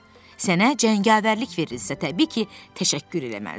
Sənə cəngavərlik verilirsə, təbii ki, təşəkkür eləməlisən.